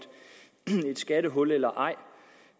skattehul eller ej